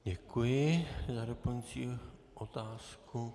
Děkuji za doplňující otázku.